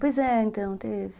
Pois é, então, teve.